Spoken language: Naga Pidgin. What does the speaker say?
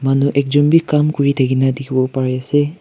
manu ekjon bi kam kuri thakina dikhiwo pare ase.